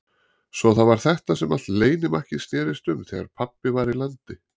Svo það var þetta sem allt leynimakkið snerist um þegar pabbi var í landi.